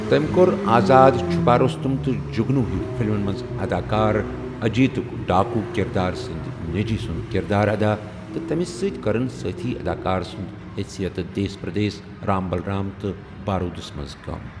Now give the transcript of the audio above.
تٔمۍ کوٚر آزاد، چھُپا رستم، تہٕ جگنو ہیو فلمن منٛز اداکار اجیتٕک ڈاکوٗ کردار سٕنٛد نیچی سُنٛد کردار ادا تہٕ تٔمِس سۭتۍ کٔرن سٲتھی اداکار سنٛد حیثیت دیس پردیس، رام بلرام تہٕ بارودس منٛز کٲم۔